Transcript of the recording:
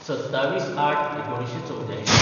२७/०८/१९८४